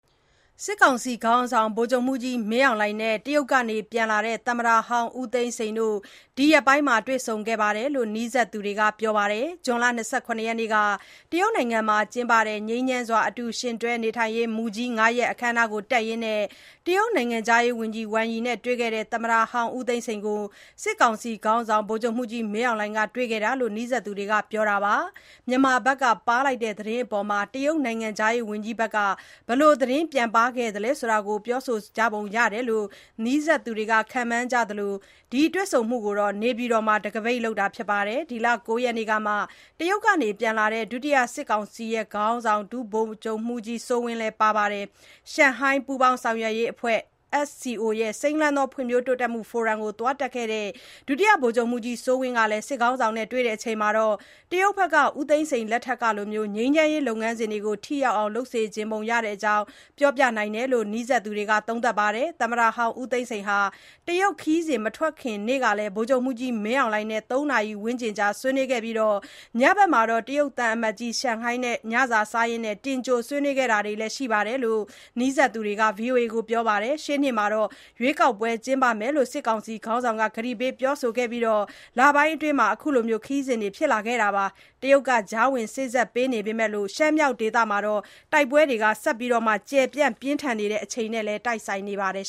စစ်ကောင်စီ ခေါင်းဆောင် ဗိုလ်ချုပ်မှူးကြီး မင်းအောင်လှိုင်နဲ့ တရုတ်က ပြန်လာတဲ့ သမ္မတဟောင်း ဦးသိန်းစိန်တို့ ဒီရက်ပိုင်း တွေ့ဆုံခဲ့တယ်လို့ နီးစပ်သူတွေက ပြောပါတယ်။ ဇွန်လ ၂၇ ရက်နေ့က တရုတ်မှာကျင်းပတဲ့ ငြိမ်းချမ်းစွာ အတူယှဉ်တွဲ နေထိုင်ရေးမူကြီး (၅) ရပ် အခမ်းအနား တက်ရင်း တရုတ် နိုင်ငံခြားရေးဝန်ကြီး ဝမ်ယိနဲ့ တွေ့ခဲ့တဲ့ သမ္မတဟောင်း ဦးသိန်းစိန်ကို စစ်ကောင်စီ ခေါင်းဆောင် ဗိုလ်ချုပ်မှူးကြီး မင်းအောင်လှိုင်က တွေ့ခဲ့တာလို့ နီးစပ်သူတွေက ပြောပါတယ်။ မြန်မာဘက်က ပါးလိုက်တဲ့သတင်းအပေါ် တရုတ်နိုင်ငံခြားရေးဝန်ကြီးဘက်က ဘယ်လို သတင်းပြန်ပါးသလဲဆိုတာ ပြောပုံရတယ်လို့ နီးစပ်သူတွေက ခန့်မှန်းကြသလို ဒီတွေ့ဆုံမှုကို နေပြည်တော်မှာ တခါးပိတ်လုပ်တာဖြစ်ပြီး ဒီလ ၉ ရက်နေ့ကမှ တရုတ်က ပြန်လာတဲ့ ဒုတိယ စစ်ကောင်စီ ခေါင်းဆောင် ဒုဗိုလ်ချုပ်မှူးကြီး စိုးဝင်း လည်း ပါတယ်လို့ သိရပါတယ်။ ရှန်ဟိုင်း ပူးပေါင်း ဆောင်ရွက်ရေးအဖွဲ့ (SCO)ရဲ့ စိမ်းလန်းသော ဖွံ့ဖြိုးတိုးတက်မှု ဖိုရမ်ကို သွားတက်ခဲ့တဲ့ ဒုတိယ ဗိုလ်ချုပ်မှူးကြီး စိုးဝင်း ကလည်း စစ်ခေါင်းဆောင်နဲ့ တွေ့ဆုံချိန်မှာ တရုတ်ဘက်က ဦးသိန်းစိန် လက်ထက်ကလို ငြိမ်းချမ်းရေး လုပ်ငန်းစဉ်တွေ ထိရောက်အောင် လုပ်စေချင်ပုံရတဲ့အကြောင်း ပြောပြနိုင်တယ်လို့ နီးစပ်သူတွေက သုံးသပ်ပြောဆိုပါတယ်။ သမ္မတဟောင်း ဦးသိန်းစိန်ဟာ တရုတ် ခရီးစဉ် မထွက်ခင်နေ့ကလည်း ဗိုလ်ချုပ်မှူးကြီး မင်းအောင်လှိုင်နဲ့ ၃ နာရီ ဝန်းကျင်ကြာ ဆွေးနွေးခဲ့ပြီး၊ ညဘက်မှာ တရုတ်သံအမတ်ကြီး ချန်ဟိုင်းနဲ့ ညစာ စားရင်း တင်ကြို ဆွေးနွေးခဲ့တာလည်း ရှိတယ်လို့ နီးစပ်သူတွေက VOA ကို ပြောခဲ့ပါတယ်။ ရှေ့နှစ်မှာ ရွေးကောက်ပွဲ ကျင်းပမယ်လို့ စစ်ကောင်စီ ခေါင်းဆောင်က ကတိပေး ပြောဆိုခဲ့ပြီး လပိုင်းအတွင်းမှာ အခုခရီးစဥ်တွေ ဖြစ်လာခဲ့တာ ဖြစ်သလို၊ တရုတ်က ကြားဝင် စေ့စပ်ပေမဲ့လို့ ရှမ်းမြောက်ဒေသမှာ တိုက်ပွဲတွေ ဆက်လက် ကျယ်ပြန့် ပြင်းထန်နေချိန်နဲ့လည်း တိုက်ဆိုင်နေပါတယ်